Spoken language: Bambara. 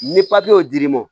Ni y'o dir'i ma